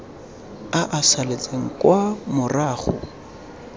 a a saletseng kwa morago